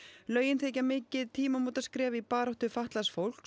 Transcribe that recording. lögin þykja mikið tímamótaskref í baráttu fatlaðs fólks